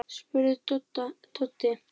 spurði Doddi.